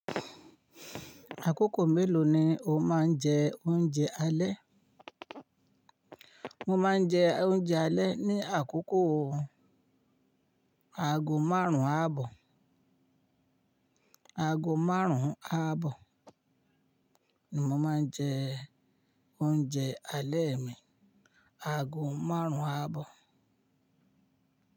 Àkókò mélòó ni o máa ń jẹ oúnjẹ alẹ́? Mo máa ń jẹ oúnjẹ alẹ́ ní àkókò aago márùn-ún ààbọ̀. Aago márùn-ún ààbọ̀ ni mo máa ń jẹ oúnjẹ alẹ́ mi. Aago márùn-ún ààbọ̀